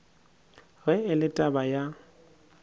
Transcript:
ge e le taba ya